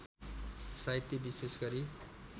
साहित्य विशेष गरी